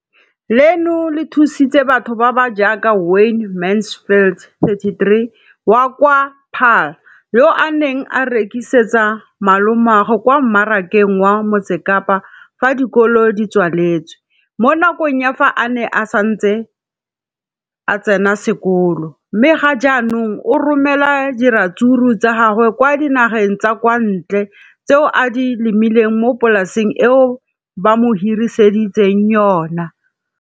Leno le thusitse batho ba ba jaaka Wayne Mansfield, 33, wa kwa Paarl, yo a neng a rekisetsa malomagwe kwa Marakeng wa Motsekapa fa dikolo di tswaletse, mo nakong ya fa a ne a santse a tsena sekolo, mme ga jaanong o romela diratsuru tsa gagwe kwa dinageng tsa kwa ntle tseo a di lemileng mo polaseng eo ba mo hiriseditseng yona.